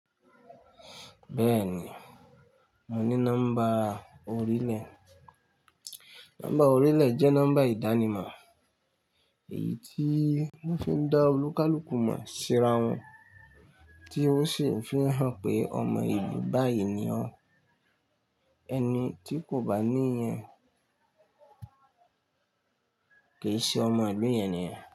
Bẹ́ẹ̀ni, mo ní nọ́mbà orílẹ̀. Nọ́mbà orílẹ̀ jẹ́ nọ́mbà ìdánimọ̀, èyí tí wọ́n fi ń dá olúkalùkù mọ̀ síra wọn, tí ó sì ń fi hàn pé ọmọ ìlú báyìí ni ọ́n. Ẹni tí kò bá ní yẹn, kì í ṣe ọmọ ìlú yẹn niyẹn.